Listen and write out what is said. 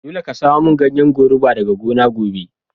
Dolle ka samo mun ganyen goruba daga gona gobe.